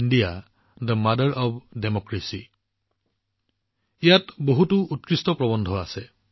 এই কিতাপখনৰ নাম হৈছে ভাৰত গণতন্ত্ৰৰ মাতৃ আৰু ইয়াত বহুতো উৎকৃষ্ট প্ৰৱন্ধ আছে